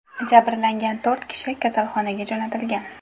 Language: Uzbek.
Jabrlangan to‘rt kishi kasalxonaga jo‘natilgan.